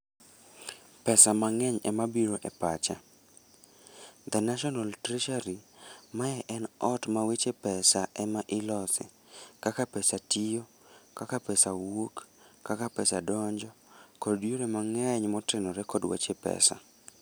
Pesa mang'eny ema biro e pacha. The National Treasury, mae ne ot ma weche pesa ema ilose. Kaka pesa tiyo, kaka pesa wuok, kaka pesa donjo, kod yore mang'eny motenore kod weche pesa.